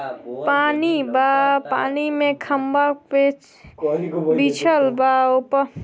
पानी बा पानी मे खम्बा बे बिच बिछल बा ओप --